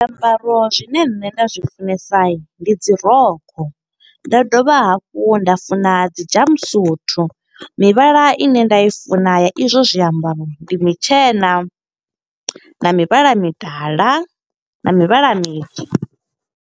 Zwiambaro zwine nṋe nda zwi funesa, ndi dzi rokho. Nda dovha hafhu nda funa dzi jump suit. Mivhala ine nda i funa ya i zwo zwiambaro, ndi mutshena, na mivhala midala, na mivhala mitswu.